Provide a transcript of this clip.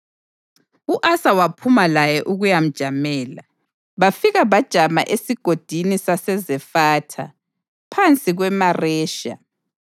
U-Asa waphuma laye ukuyamjamela, bafika bajama eSigodini saseZefatha phansi kweMaresha.